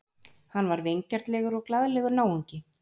Hann var vingjarnlegur og glaðlegur náungi.